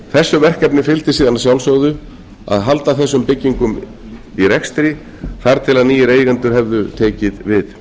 þessu verkefni fylgdi síðan að sjálfsögðu að halda þessum byggingum í rekstri þar til nýir eigendur hefðu tekið við